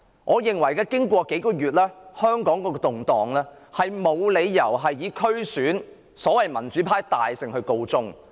我認為香港這數個月以來的動盪，沒有理由以所謂"民主派大勝區選"而告終。